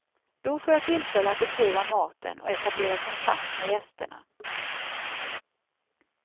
Då får jag tillfälle att beskriva maten och etablera kontakt med gästerna.